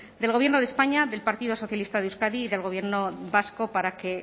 del gobierno de españa del partido socialista de euskadi y del gobierno vasco para que